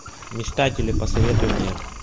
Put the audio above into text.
мечтатели посоветуй мне